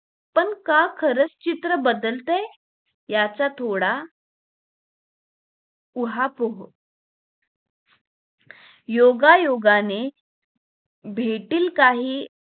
पण का खरंच चित्र बदलतंय याचा थोडा पुहपुर्व योगा योगाने भेटी काही